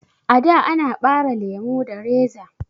A'da ana ɓare lemo da reza